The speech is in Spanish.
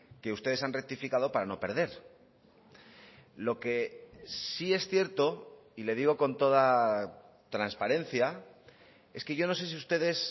que ustedes han rectificado para no perder lo que sí es cierto y le digo con toda transparencia es que yo no sé si ustedes